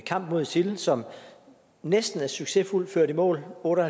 kamp mod isil som næsten er succesfuldt ført i mål otte